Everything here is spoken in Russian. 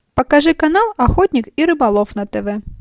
покажи канал охотник и рыболов на тв